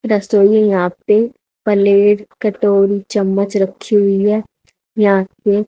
रसोई है यहां पे प्लेट कटोरी चम्मच रखी हुई है यहां पे--